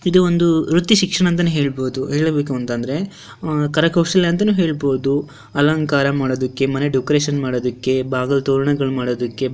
ಇದು ಒಂದು ವೃತ್ತಿ ಶಿಕ್ಷಣ ಅಂತನೆ ಹೇಳಬಹುದು ಹೇಳಬೇಕುಅಂತಂದ್ರೆ ಅಹ್ ಕರಕೌಶಲ್ಯ ಅಂತನು ಹೇಳಬಹುದು ಅಲಂಕಾರ ಮಾಡೋದಕ್ಕೆ ಮನೆ ಡೆಕೋರೇಷನ್ ಮಾಡೋದಕ್ಕೆ ಬಾಗಿಲ ತೋರಣಗಳನ್ನು ಮಾಡೊದಕ್ಕೆ.